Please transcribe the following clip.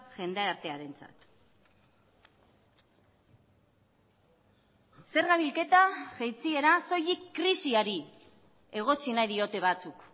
jendartearentzat zerga bilketa jaitsiera soilik krisiari egotzi nahi diote batzuk